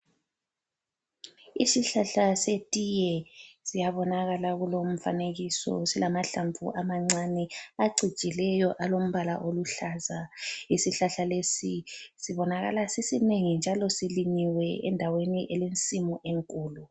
Isihlahla setiye siyabonakala kulomfanekiso silamahlamvu amancane acijileyo alombala oluhlaza. Isihlahla lesi sibonakala sisinengi njalo silinyiwe endaweni elensimu enkulu.